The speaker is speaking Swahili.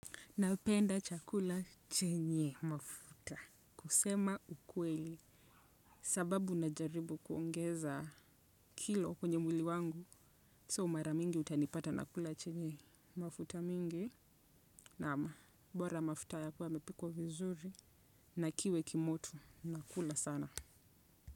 Napenda chakula chenye mafuta. Kusema ukweli. Sababu na jaribu kuongeza kilo kwenye mwili wangu. So mara mingi utanipata nakula chenye mafuta mingi. Na ama. Bora mafuta yakuwa mepikuwa vizuri. Na kiwe kimotu. Nakula sana.